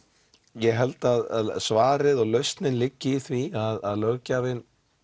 ég held að svarið og lausnin liggi í því að löggjafinn